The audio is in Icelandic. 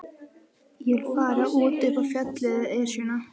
Ég vil fara út upp á fjallið, Esjuna.